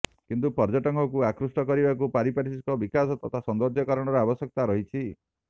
କିନ୍ତୁ ପର୍ଯ୍ୟଟକଙ୍କୁ ଆକୃଷ୍ଟ କରିବାକୁ ପାରିପାର୍ଶ୍ୱିକ ବିକାଶ ତଥା ସୌନ୍ଦର୍ଯ୍ୟକରଣର ଆବଶ୍ୟକତା ରହିଛି